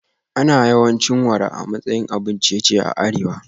Ana yawan cin wara a matsayin abun ciye-ciye a arewa